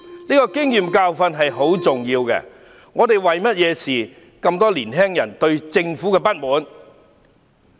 這個經驗和教訓很重要，究竟為何我們會有這麼多年輕人對政府不滿？